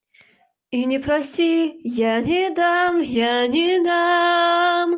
и не проси я не дам я не дам